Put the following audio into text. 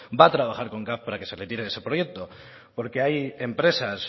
va a trabajar con caf para que se retire de ese proyecto porque hay empresas